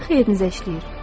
Sizin xeyrinizə işləyir.